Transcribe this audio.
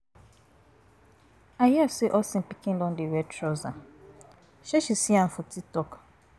I hear say Austin pikin don dey wear trouser, say she, see a for TikTok.